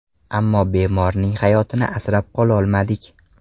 Ammo bemorning hayotini asrab qololmadik”.